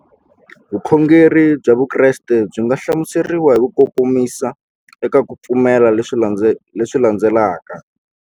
Vukhongeri bya Vukreste byi nga hlamuseriwa hi kukomisa eka ku pfumela leswi landzelaka.